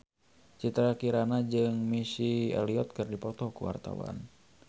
Citra Kirana jeung Missy Elliott keur dipoto ku wartawan